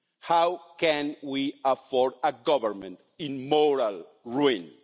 How can we afford a government in moral ruin?